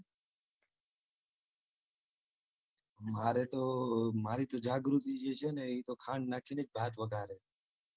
મારે તો મારી તો જાગૃતિ જે છે ને એ ખાંડ નાખીને જ ભાત વગારે.